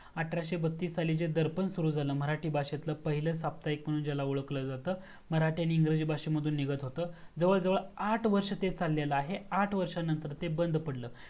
अठराशे बत्तीस साली जे दर्पण सुरू झाल मराठी भाषेतील पहिलं साप्ताहिक म्हणून ज्याला ओळखलं जातं मराठी आणि इंग्रजी भाषेतून ते निघत होतं जवळ जवळ आठ वर्ष ते चाललेल आहे आठ वर्षानंतर ते बंद पडलं